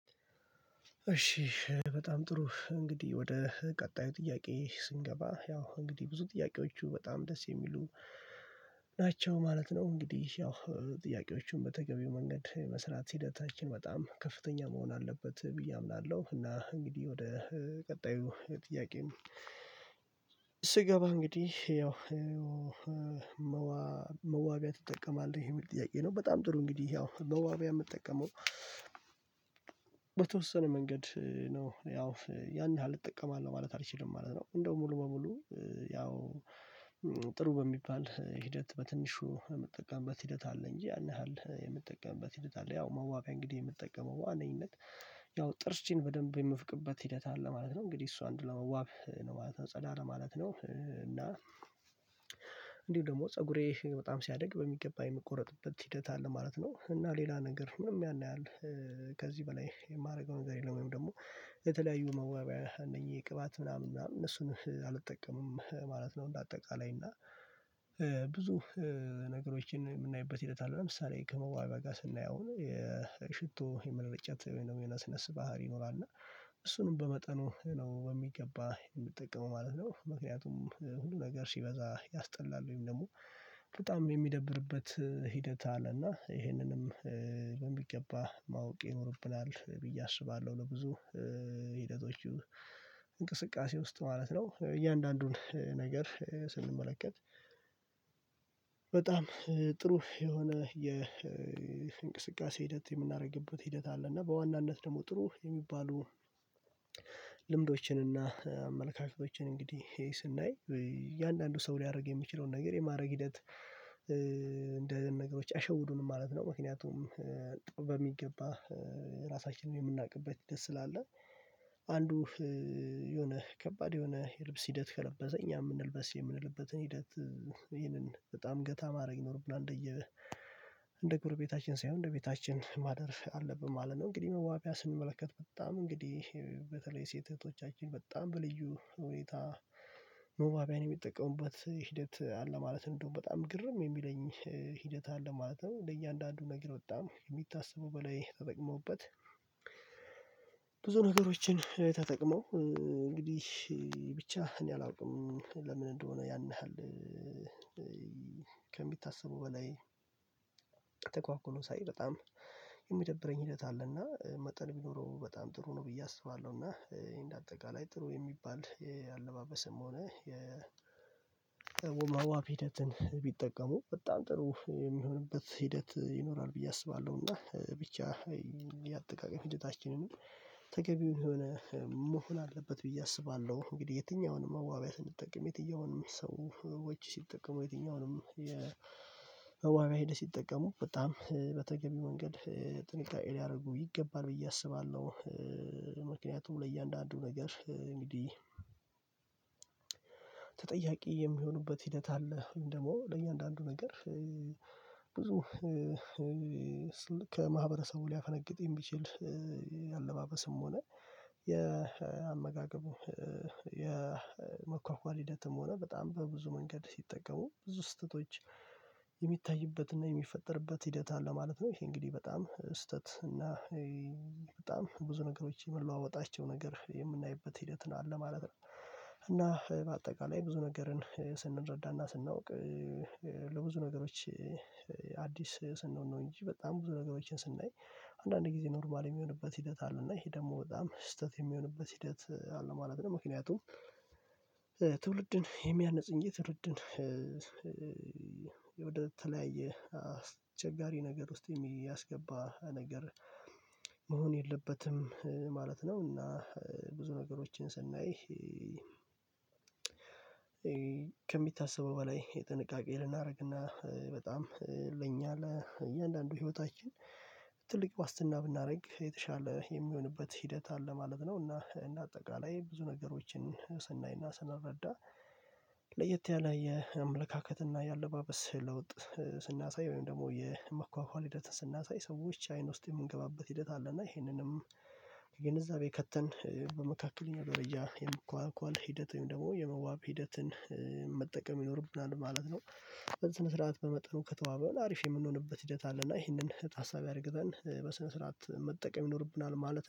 እሺ በጣም ጥሩ እንግዲህ ወደ ቀጣዩ ጥያቄ ስንገባ ያው እንግዲህ ብዙ ጥያቄዎቹ በጣም ደስ የሚሉ ናቸው ማለት ነው። እንግዲህ ያው ጥያቄዎቹን በተገቢው መንገድ መስራት ሂደታችን በጣም ከፍተኛ መሆን አለበት ብዬ አምናለሁ። እና እንግዲህ ወደ ቀጣዩ ጥያቄም ስገባ እንግዲህ ያው መዋቢያ ትጠቀማለህ የሚል ጥያቄ ነው። በጣም ጥሩ እንግዲህ ያው መዋቢያ የምጠቀመው በተወሰነ መንገድ ነው ያው ያን ያህል እጠቀማለሁ ማለት አልችልም ማለት ነው። እንደው ሙሉ በሙሉ ያው ጥሩ በሚባል ሂደት በትንሹ የምትጠቀምበት ሂደት አለ እንጂ ያንን ያህል የምትጠቀምበት ሂደት አለ። ያው መዋቢያ እንግዲህ የምትጠቀመው በዋነኝነት ያው ጥርሴን በደንብ የምትፈቅበት ሂደት አለ ማለት ነው። እንግዲህ እሷ እንድለመዋብ ነው ማለት ነው ጸላ ለማለት ነው እና እንዲሁ ደግሞ ፀጉሬ በጣም ሲያድግ በሚገባ የሚቆረጥበት ሂደት አለ ማለት ነው። እና ሌላ ነገር ምንም ያን ያህል ከዚህ በላይ የማደርገው ነገር የለም። ወይም ደግሞ የተለያዩ መዋብያ እነኚህ ቅባት ምናምን ምናምን እነሱን አልጠቀምም ማለት ነው። እንደ አጠቃላይ እና ብዙ ነገሮችን የምናይበት ሂደት አለ ለምሳሌ ከመዋቢያ ጋር ስናየው የሽቶ የመረጨት ወይንም የነስነስ ባህሪ ይኖራል። እና እሱንም በመጠኑ በሚገባ የምጠቀመው ማለት ነው። ምክንያቱም ሁሉ ነገር ሲበዛ ያስጠላል ወይም ደግሞ በጣም የሚደብርበት ሂደት አለና ይሄንንም በሚገባ ማወቅ ይኖርብናል ብዬ አስባለሁ። ለብዙ ሂደቶቹ እንቅስቃሴ ውስጥ ማለት ነው እያንዳንዱን ነገር ስንመለከት በጣም ጥሩ የሆነ የእንቅስቃሴ ሂደት የምናደርግበት ሂደት አለ። እና በዋናነት ደግሞ ጥሩ የሚባሉ ልምዶችን እና አመለካከቶችን እንግዲህ ይሄ ስናይ እያንዳንዱ ሰው ሊያደርግ የሚችለውን ነገር የማድረግ ሂደት እንዲህ አይነት ነገሮች አሸውዱን ማለት ነው። ምክንያቱም በሚገባ ራሳችንን የምናውቅበት ደስ ስላለ አንዱ የሆነ ከባድ የሆነ የልብስ ሂደት ከለበሰ እኛ የምንልበስ የምንልበትን ሂደት ይሄንን በጣም ገታ ማድረግ ይኖርብናል እንደየ እንደ ጎረቤታችን ሳይሆን እንደ ቤታችን ማደር አለብን ማለት ነው። እንግዲህ መዋቢያ ስንመለከት በጣም እንግዲህ በተለይ ሴት እህቶቻችን በጣም በልዩ ሁኔታ ሙዋቢያን የሚጠቀሙበት ሂደት አለ ማለት እንደው በጣም ግርም የሚለኝ ሂደት አለ ማለት ነው። ለእያንዳንዱ ነገር በጣም የሚታሰቡ በላይ ተጠቅመውበት ብዙ ነገሮችን ተጠቅመው እንግዲህ ብቻ እኔ አላውቅም። ለምን እንደሆነ ያን ያህል ከሚታሰቡ በላይ ሳይ በጣም የሚደብረኝ ሂደት አለና መጠን ቢኖረው በጣም ጥሩ ነው ብዬ አስባለሁ። እና እንደ አጠቃላይ ጥሩ የሚባል የአለባበስም ሆነ የ መዋብ ሂደትን ቢጠቀሙ በጣም ጥሩ የሚሆንበት ሂደት ይኖራል ብዬ አስባለሁ። እና ብቻ የአጠቃቀሚ ሂደታችንንም ተገቢውን የሆነ መሆን አለበት ብዬ አስባለሁ እንግዲህ የትኛውንም መዋቢያ ስንጠቀም የትኛውንም ሰዎች ሲጠቀሙ የትኛውንም የ መዋቢያ ሄደ ሲጠቀሙ በጣም በተገቢ መንገድ ጥንቃቄ ሊያደርጉ ይገባል ብዬ አስባለሁ። ምክንያቱም ለእያንዳንዱ ነገር እንግዲህ ተጠያቂ የሚሆኑበት ሂደት አለ ወይም ደግሞ ለእያንዳንዱ ነገር ብዙ ከማህበረሰቡ ሊያፈነግጥኝ የሚችል አለባበስም ሆነ የአመጋገቡ የመኳኳል ሂደትም ሆነ በጣም በብዙ መንገድ ሲጠቀሙ ብዙ ስህተቶች የሚታይበትና የሚፈጠርበት ሂደት አለ ማለት ነው። ይሄ እንግዲህ በጣም ስህተት እና በጣም ብዙ ነገሮች የምንለዋወጣቸው ነገር የምናይበት ሂደት ነው አለ ማለት ነው። እና በአጠቃላይ ብዙ ነገርን ስንረዳና ስናውቅ ለብዙ ነገሮች አዲስ ስንሆን ነው እንጂ በጣም ብዙ ነገሮችን ስናይ አንዳንድ ጊዜ ኖርማል የሚሆንበት ሂደት አለ እና ይሄ ደግሞ በጣም ስህተት የሚሆንበት ሂደት አለ ማለት ነው። ምክንያቱም ትውልድን የሚያንጽ እንጂ ትውልድን አስቸጋሪ ነገር ውስጥ የሚያስገባ ነገር መሆን የለበትም ማለት ነው። እና ብዙ ነገሮችን ስናይ ከሚታሰበው በላይ የጥንቃቄ ልናደርግና በጣም ለኛ ለእያንዳንዱ ህይወታችን ትልቅ ዋስትና ብናደርግ የተሻለ የሚሆንበት ሂደት አለ ማለት ነው። እና እንደ አጠቃላይ ብዙ ነገሮችን ስናይና ስናረዳ ለየት ያለ የአመለካከት እና የአለባበስ ለውጥ ስናሳይ ወይም ደግሞ የመኳኳል ሂደት ስናሳይ ሰዎች አይን ውስጥ የምንገባበት ሂደት አለና ይሄንንም ግንዛቤ ከተን በመካከለኛው ደረጃ የመኳኳል ኳል ሂደትም ደግሞ የመዋብ ሂደትን መጠቀም ይኖርብናል ማለት ነው። በዚህ ስነ ስርዓት በመጠኑ ከተዋብን አሪፍ የምንሆንበት ሂደት አለና ይህንን ታሳቢ አድርገን በስነ ስርዓት መጠቀም ይኖርብናል ማለት